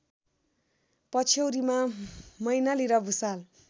पछ्यौरीमा मैनाली र भुसाल